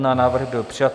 Návrh byl přijat.